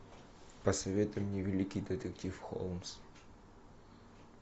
посоветуй мне великий детектив холмс